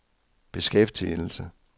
beskæftigelse